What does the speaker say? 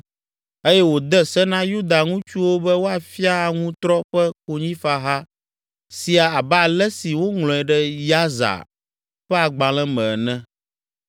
eye wòde se na Yuda ŋutsuwo be woafia aŋutrɔ ƒe konyifaha sia abe ale si woŋlɔe ɖe Yasar ƒe agbalẽ me ene.